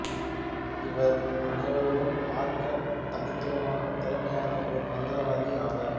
இவர்அ னைவரிலும் பார்க்க தனித்துவமான திறமையான ஒரு மந்திரவாதி ஆவார்